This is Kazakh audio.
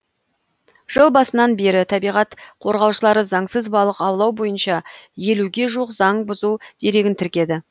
жыл басынан бері табиғат қорғаушылары заңсыз балық аулау бойынша елуге жуық заң бұзу дерегін тіркеді